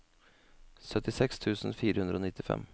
syttiseks tusen fire hundre og nittifem